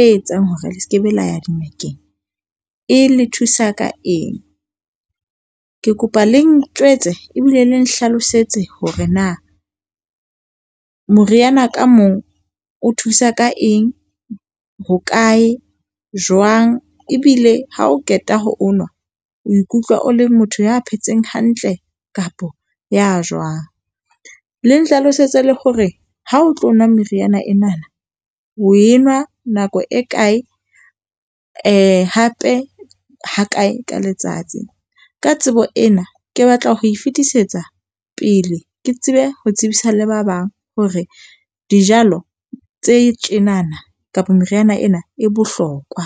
e etsang hore le sekebe la ya dingakeng e le thusa ka eng? Ke kopa le njwetse ebile le nhlalosetse hore na moriana ka mong o thusa ka eng, hokae, jwang ebile ha o qeta ho onwa o ikutlwa o le motho ya phetseng hantle kapa ya jwang? Le nhlalosetse le hore ha o tlo nwa meriana enana, o e nwa nako e kae, eh hape ha kae ka letsats. Ka tsebo ena, ke batla ho e fetisetsa pele. Ke tsebe ho e tsebisa le ba bang hore dijalo tse tjenana kapa meriana ena e bohlokwa.